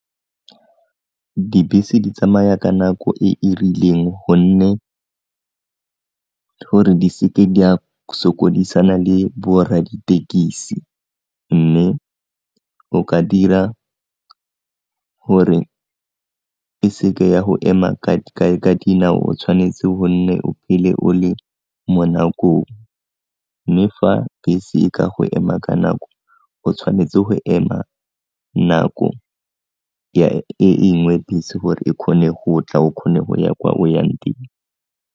Dibese di tsamaya ka nako e e rileng gonne, gore di seke di a sokodisana le borra ditekesi mme o ka dira gore e se ke ya go ema ka dinao o tshwanetse go nne o phele o le mo nakong, mme fa bese e ka go ema ka nako o tshwanetse go ema nako e nngwe bese gore e kgone go tla o kgone go ya kwa o yang teng.